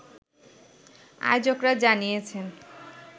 আয়োজকরা জানিয়েছেন